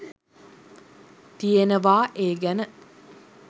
තියෙනවා ඒ ගැන.